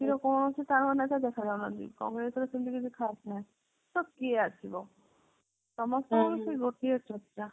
ଦେଖା ଯାଉ ନାହାନ୍ତି କଂଗ୍ରେସ ର ସେମିତି କିଛି ଖାସ ନାହିଁ ତ କିଏ ଆସିବ ସମସ୍ତେଙ୍କୁ ସେଇ ଗୋଟିଏ ଚର୍ଚ୍ଚା